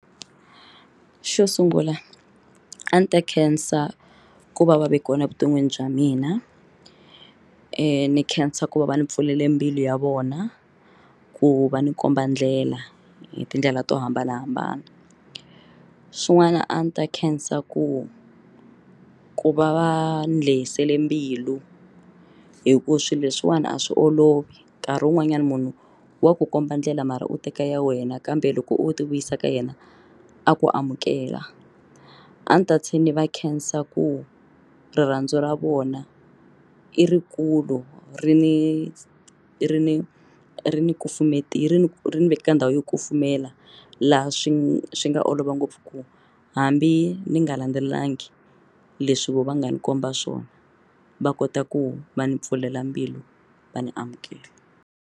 Xo sungula a ni ta khensa ku va va ve kona evuton'wini bya mina ni khensa ku va va ni pfulele mbilu ya vona ku va ni komba ndlela hi tindlela to hambanahambana swin'wana a ni ta khensa ku ku va va ni lehisele mbilu hi ku swilo leswiwani a swi olovi nkarhi wun'wanyana munhu wa ku komba ndlela mara u teka ya wena kambe loko u ti vuyisa ka yena a ku amukela a ndzi ta tlhela ndzi va khensa ku rirhandzu ra vona i ri kulu ri ni ri ni ri ni kufumeta yi ri ni ri ni nyika ka ndhawu yo kufumela laha swi swi nga olova ngopfu ku hambi ni nga landzelelangi leswi vo va nga ni komba swona va kota ku va ni pfulela mbilu va ni amukela.